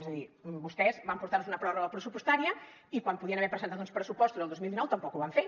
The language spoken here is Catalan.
és a dir vostès van portar nos una pròrroga pressupostària i quan podien haver presentat uns pressupostos el dos mil dinou tampoc ho van fer